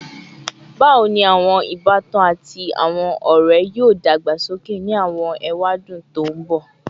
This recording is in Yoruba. Bawo ni awọn ibatan ati awọn ọrẹ yoo dagbasoke ni awọn ewadun to nbọ?